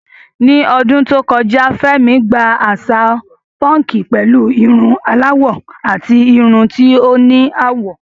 Ní ọdún tó kọjá, Fẹ́mi gba àṣà púnkì pẹ̀lú irun aláwọ̀ àti irun tí ó ní àwọ̀.